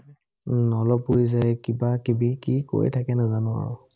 উম অলপ উৰি যায়, কিবা-কিবি কি কৈ থাকে নাজানো আৰু।